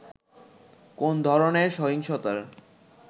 কোন ধরণের সহিংসতার